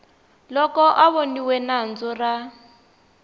loko a voniwe nandzu ra